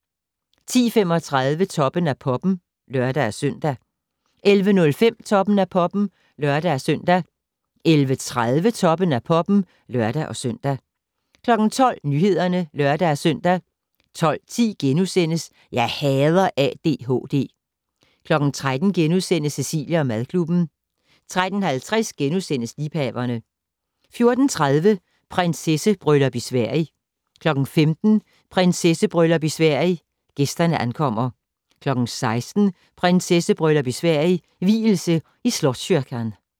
10:35: Toppen af Poppen (lør-søn) 11:05: Toppen af Poppen (lør-søn) 11:30: Toppen af Poppen (lør-søn) 12:00: Nyhederne (lør-søn) 12:10: Jeg hader ADHD * 13:00: Cecilie & madklubben * 13:50: Liebhaverne * 14:30: Prinsessebryllup i Sverige 15:00: Prinsessebryllup i Sverige - gæsterne ankommer 16:00: Prinsessebryllup i Sverige - vielse i Slottskyrkan